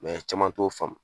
caman t'o faamu